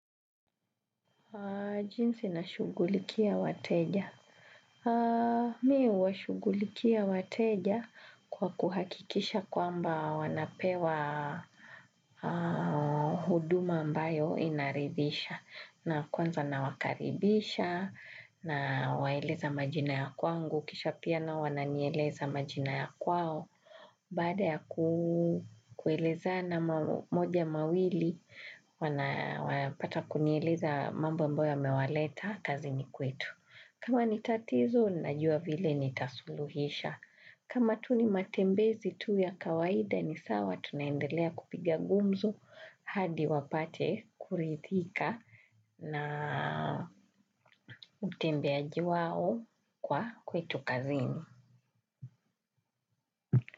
Jinsi nashugulikia wateja. Miwa shugulikia wateja kwa kuhakikisha kwa mba wanapewa huduma ambayo inaridhisha na kwanza na wakaribisha nawaeleza majina ya kwangu. Kisha pia na wananieleza majina ya kwao baada ya kueleza na moja mawili wana pata kunieleza mambo ambayo yamewaleta kazini kwetu kama ni tatizo, najua vile ni tasuluhisha kama tu ni matembezi tu ya kawaida ni sawa, tunaendelea kupigia gumzo hadi wapate kurithika na utembeaji wao kwa kwetu kazini.